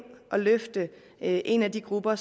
og løfte en af de grupper